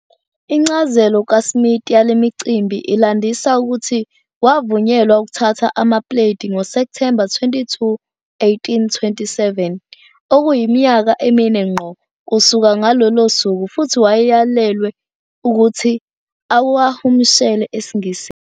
Incazelo kaSmith yale micimbi ilandisa ukuthi wavunyelwa ukuthatha amapuleti ngoSepthemba 22, 1827, okuyiminyaka emine ngqo kusuka ngalolo suku, futhi wayeyalelwe ukuthi awahumushele esiNgisini.